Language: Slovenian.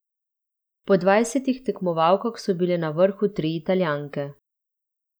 Po dvajsetih tekmovalkah so bile na vrhu tri Italijanke.